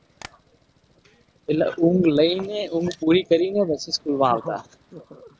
એટલે ઊંઘ લેઈ ને ઊંઘ પૂરી કરીને પછી school માં આવતા.